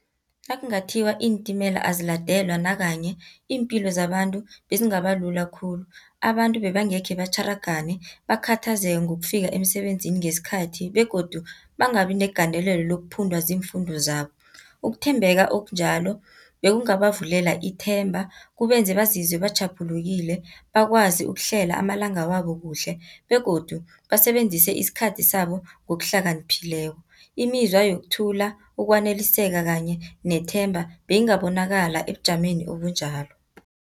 Nakungathiwa iintimela aziladelwa nakanye, iimpilo zabantu bezingabalula khulu. Abantu bebangekhe batjharangane, bakhathazeke ngokufika emsebenzini ngesikhathi, begodu bangabi negandelelo lokuphundwa ziimfundo zabo. Ukuthembeka okunjalo bekungabavulela ithemba, kubenze bazizwe batjhaphulekile bakwazi ukuhlela amalanga wabo kuhle, begodu basebenzise isikhathi sabo ngokuhlakaniphileko. Imizwa yokuthula ukwaneliseka, kanye nethemba, beyingabonakala ebujameni obunjalo.